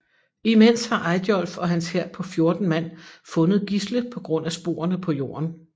Imens har Eyjolf og hans hær på 14 mand fundet Gisle på grund af sporene på jorden